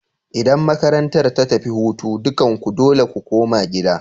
Idan makarantar ta tafi hutu, dukanku dole ku koma gida!